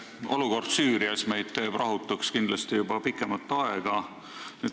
Olukord Süürias teeb meid rahutuks juba pikemat aega.